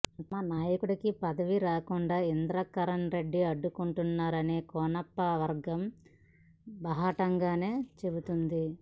తమ నాయకుడికి పదవి రాకుండా ఇంద్రకరణ్ రెడ్డి అడ్డుకుంటున్నారని కోనప్ప వర్గం బాహాటంగానే చెబుతోంది